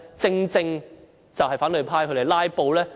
正正是因反對派"拉布"。